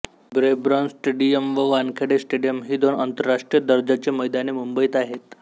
Brabourne stadium व Wankhede stadium ही दोन आंतरराष्ट्रीय दर्जाची मैदाने मुंबईत आहेत